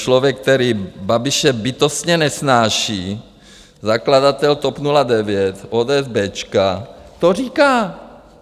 Člověk, který Babiše bytostně nesnáší, zakladatel TOP 09, ODS béčka, to říká.